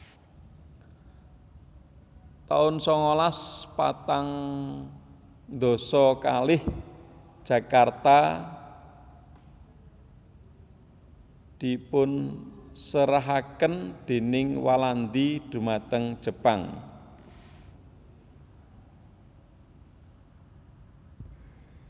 taun sangalas patang dasa kalih Jakarta dipunserahaken déning Walandi dhumateng Jepang